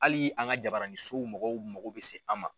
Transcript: Hali an ka jabaranniso mɔgɔw mago be se an ma.